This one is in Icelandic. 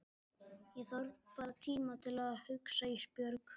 Ég þarf bara tíma til að hugsa Ísbjörg.